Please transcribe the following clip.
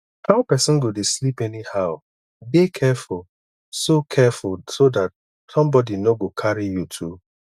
how person go dey sleep anyhow dey careful so careful so dat somebody no go carry you tu